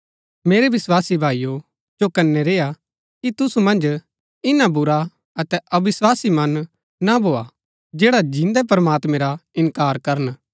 मेरै विस्वासी भाईओ चौकनै रेय्आ कि तुसु मन्ज इन्‍ना बुरा अतै अविस्वासी मन नां भोआ जैडा जिन्दै प्रमात्मैं रा इन्कार करन